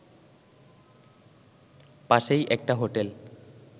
পাশেই একটা হোটেল